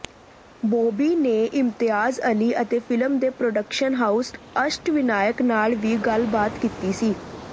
ਬਾਬੀ ਨੇ ਇਮਤਿਆਜ਼ ਅਲੀ ਅਤੇ ਫਿਲਮ ਦੇ ਪ੍ਰੋਡਕਸ਼ਨ ਹਾਉਸ ਅਸ਼ਟਵੀਨਾਇਕ ਨਾਲ ਵੀ ਗੱਲਬਾਤ ਕੀਤੀ ਸੀ